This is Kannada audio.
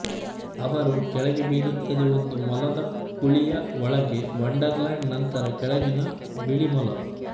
ಅವರು ಕೆಳಗೆ ಬೀಳುತ್ತದೆ ಒಂದು ಮೊಲದ ಕುಳಿಯ ಒಳಗೆ ವಂಡರ್ಲ್ಯಾಂಡ್ ನಂತರ ಕೆಳಗಿನ ಬಿಳಿ ಮೊಲ